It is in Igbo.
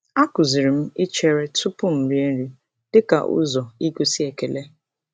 A kụziri m ichere tụpụ m rie nri dịka ụzọ igosi ekele.